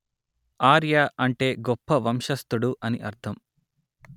ఆర్య అంటే గొప్ప వంశస్థుడు అని అర్ధం